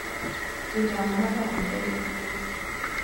Thutha wa matha merĩ ũgwo.